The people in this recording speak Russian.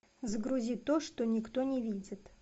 загрузи то что никто не видит